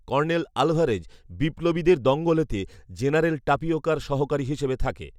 colonel Alvarez "বিপ্লবীদের দঙ্গলে"তে general টাপিওকার সহকারী হিসেবে থাকে